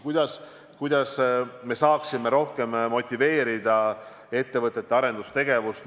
Kuidas me saaksime rohkem motiveerida ettevõtete arendustegevust?